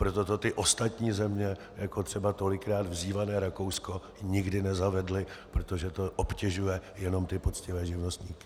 Proto to ty ostatní země, jako třeba tolikrát vzývané Rakousko, nikdy nezavedly, protože to obtěžuje jenom ty poctivé živnostníky.